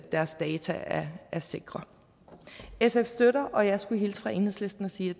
deres data er sikre sf støtter og jeg skulle hilse fra enhedslisten og sige